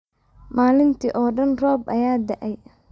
Maalintii oo dhan roob ayaa da’ay.